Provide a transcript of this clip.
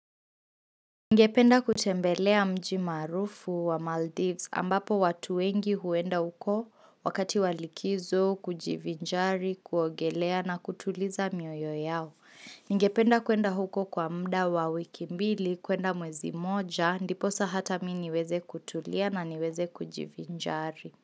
Ngependa kutembelea mji maarufu wa Maldives ambapo watu wengi huenda huko wakati wa likizo, kujivinjari, kuogelea na kutuliza mioyo yao. Ngependa kuenda huko kwa mda wa wiki mbili, kuenda mwezi moja, ndiposa hata mi niweze kutulia na niweze kujivinjari.